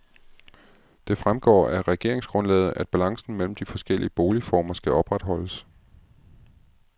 Det fremgår af regeringsgrundlaget, at balancen mellem de forskellige boligformer skal opretholdes.